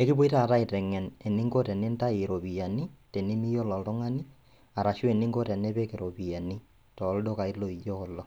ekipuoi taata aiteng'en eninko tenintayu iropiani tenimiyolo oltung'ani arashu eninko tenipik iropiani tooldukai loijo kulo.